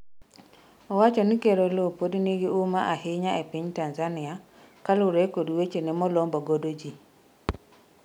owacho ni Ker Oloo pod nigi huma ahinya e piny Tanzania kaluwore kod wechene molombo godo jii